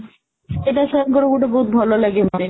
ସେଇଟା sir ଙ୍କର ଗୋଟେ ବହୁତ ଭଲଲାଗେ ମତେ